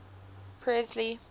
presley